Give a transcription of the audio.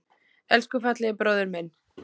Elsku fallegi bróðir minn.